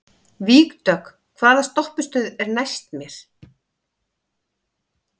Vígdögg, hvaða stoppistöð er næst mér?